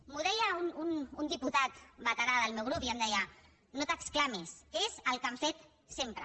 m’ho deia un diputat veterà del meu grup i em deia no t’exclamis és el que han fet sempre